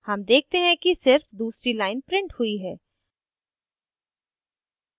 हम देखते हैं कि सिर्फ दूसरी line printed हुई है